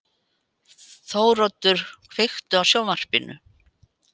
Þóroddur, kveiktu á sjónvarpinu.